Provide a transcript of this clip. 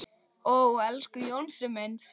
Ó, elsku Jónsi minn.